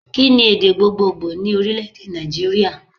Kí ni èdè gbogbogbò ní Orílèdè Nàìjíríà